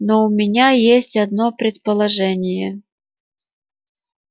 но у меня есть одно предположение